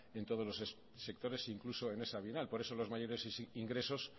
en todos los sectores incluso en esa bienal por eso los mayores ingresos